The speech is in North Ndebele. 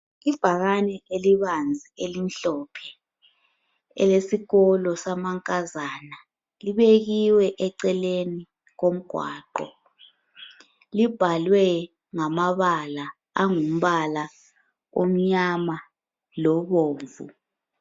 Ibhakani elibanzi elimhlophe elesikolo samankazana libekiwe eceleni komgqaqo libhalwe ngamabala angumbala omnyama lobomvu.